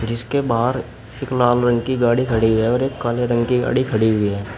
जिसके बाहर एक लाल रंग की गाड़ी खड़ी है और एक काले रंग की गाड़ी खड़ी हुई है।